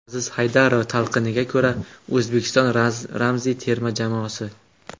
Aziz Haydarov talqiniga ko‘ra O‘zbekiston ramziy terma jamoasi.